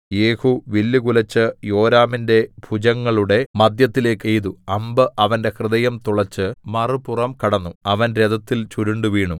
യേഹൂ വില്ലുകുലെച്ച് യോരാമിന്റെ ഭുജങ്ങളുടെ മധ്യത്തിലേക്ക് എയ്തു അമ്പ് അവന്റെ ഹൃദയം തുളച്ച് മറുപുറം കടന്നു അവൻ രഥത്തിൽ ചുരുണ്ടുവീണു